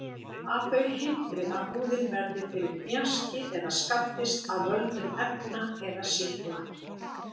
Að þau hindri að húðin verði fyrir hnjaski eða skaddist af völdum efna eða sýkla.